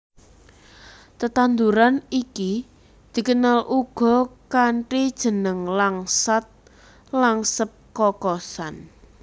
Tetanduran iki dikenal uga kanthi jeneng langsat langsep kokosan